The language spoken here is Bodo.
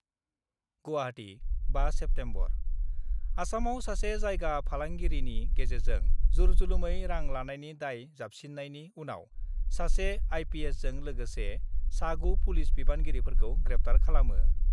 गुवाहाटी, 5 सेप्तेम्बर : आसामआव सासे जायगा फालांगिरिनि गेजेरजों जरजुलुमै रां लानायनि दाय जाबसिननायनि उनाव सासे आइपिएसजों लोगोसे सा 9 पुलिस बिबानगिरिफोरखौ ग्रेप्टार खालामो।